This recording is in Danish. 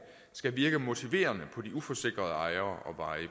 skal virke motiverende på de uforsikrede ejere